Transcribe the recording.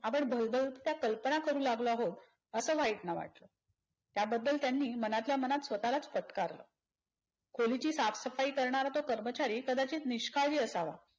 आपण भयभयीत कल्पना करू लागलो आहोत अस व्हाईट ना वाटल. त्याबद्दल त्यांनी मनातल्यामनात स्वतःलाच फटकारलं. खोलीची साफसफाई करणारा तो कर्मचारी कदाचित निष्काळजी असावा.